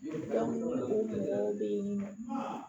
Yɛrɛ bɛ